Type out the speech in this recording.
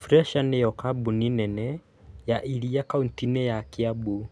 Fresha nĩ yo kambuni nene ya iria kaunti-inĩ ya Kiambu